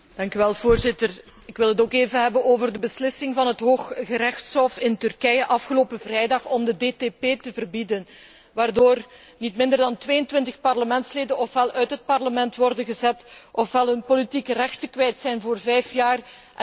Voorzitter, ook ik wil het even hebben over de beslissing van het Hooggerechtshof in Turkije van afgelopen vrijdag om de DTP te verbieden, waardoor niet minder dan 22 parlementsleden ofwel uit het Parlement worden gezet ofwel hun politieke rechten voor vijf jaar kwijt zijn